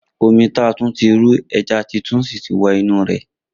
Omi ta tun ti ru, eja ti tun si ti wo inu e.